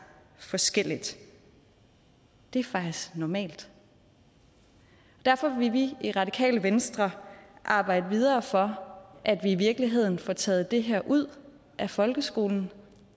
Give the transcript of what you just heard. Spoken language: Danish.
forskelligt det er faktisk normalt derfor vil vi i radikale venstre arbejde videre for at vi i virkeligheden får taget det her ud af folkeskolen